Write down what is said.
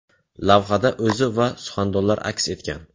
Lavhada o‘zi va suxandonlar aks etgan.